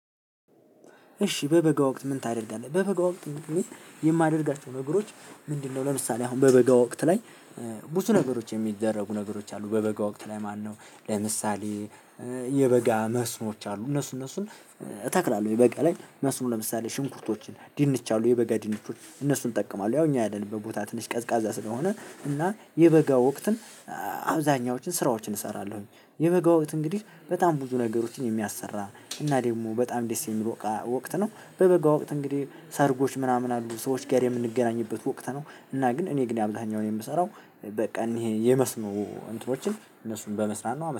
እሺ በበጋ ወቅት ምን ታደርጋለህ? በበጋ ወቅት። የማደርጋቸው ነገሮች ምንድነው? ለምሳሌ አሁን በበጋ ወቅት ላይ። ብዙ ነገሮች የሚደረጉ ነገሮች አሉ። በበጋ ወቅት ላይ ማነው? ለምሳሌ የበጋ መስኖች አሉ እነሱ እነሱን እተክላለሁ። የበጋ ላይ መስኖ ለምሳሌ ሽንኩርቶችን ድንች አሉ የበጋ ድንቾች እነሱን እጠቀማለሁ። ያው እኛ ያለንበት ቦታ ትንሽ ቀዝቃዛ ስለሆነ እና የበጋ ወቅትን አብዛኛዎችን ስራዎችን እሰራለሁኝ። የበጋው ወቅት እንግዲህ በጣም ብዙ ነገሮችን የሚያሰራ እና ደግሞ በጣም ደስ የሚለው ወቅት ነው። በበጋ ወቅት እንግዲህ ሰርጎች ምናምን አሉ ሰዎች ጋር የምንገናኝበት ወቅት ነው። እና ግን እኔ ግን የአብዛኛውን የምሰራው በቃ ይሄን የመስኖ እንትኖችን እነሱን በመስራት ነው